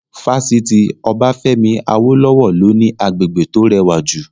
Fásitì Obafemi Awolowo ló ní agbègbè tó rẹwà jù